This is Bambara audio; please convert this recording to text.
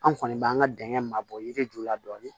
An kɔni b'an ka dingɛ ma bɔ yiri ju la dɔɔni